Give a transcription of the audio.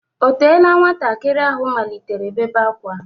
O teela nwantakịrị ahụ malitere bèbé ákwá?